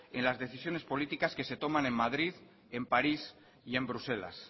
en las decisiones políticas que se toman en madrid en parías y en bruselas